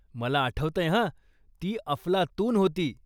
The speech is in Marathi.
मला आठवतंय हं! ती अफलातून होती.